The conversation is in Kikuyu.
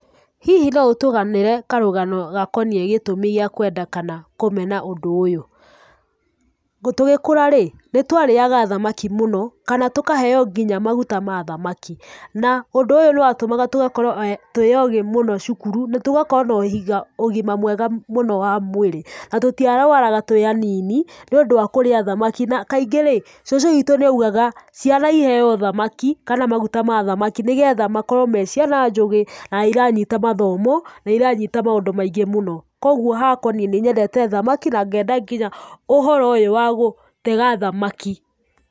Hihi no ũtũganĩre karũgano gakoniĩ gĩtũmi gĩa kwenda kana kũmena ũndũ ũyũ? Tũgĩkũra rĩ, nĩ twarĩaga thamaki mũno kana tũkaheo nginya maguta ma thamaki, na ũndũ ũyũ nĩ watũmaga tũgakorwo twĩ ogĩ mũno cukuru, na tũgakorwo na ũgima mwega mũno wa mwĩrĩ, na tũtiarũaraga tũĩ anini nĩũndũ wa kũrĩa thamaki, na kaingĩ rĩ, cũcũ witũ nĩaugaga, "ciana iheo thamaki kana maguta ma thamaki nĩgetha makorwo me ciana njũgĩ na iranyita mathomo, na iranyita maũndũ maingĩ mũno." Kũoguo hakwa niĩ nĩnyendete thamaki na ngenda nginya ũhoro ũyũ wa gũtega thamaki.